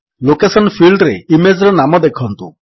location ଫିଲ୍ଡରେ image ର ନାମ ଦେଖନ୍ତୁ